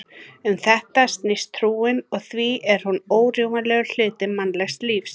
Um þetta snýst trúin og því er hún órjúfanlegur hluti mannlegs lífs.